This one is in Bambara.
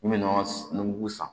N bɛ nɔnɔ mugu san